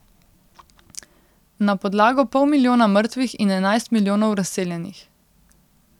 Na podlago pol milijona mrtvih in enajst milijonov razseljenih.